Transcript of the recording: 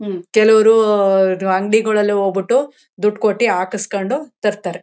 ಹ್ಮ್ಮ್ ಕೆಲವರು ಅಂಗಡಿಗೆ ಹೋಗ್ಬಿಟ್ಟು ದುಡ್ಡು ಕೊಟ್ಟಿ ಹಕುಸ್ಕೊಂಡು ತರ್ತಾರೆ